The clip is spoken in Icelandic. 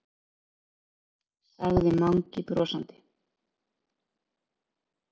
sagði Mangi brosandi.